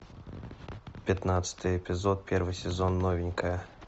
пятнадцатый эпизод первый сезон новенькая